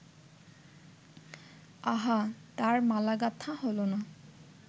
আহা, তার মালা গাঁথা হ’ল না